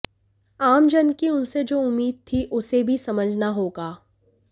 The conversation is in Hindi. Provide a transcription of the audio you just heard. आम जन की उनसे जो उम्मीद थी उसे भी समझना होगा